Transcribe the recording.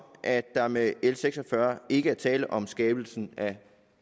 at der med l seks og fyrre ikke er tale om skabelse af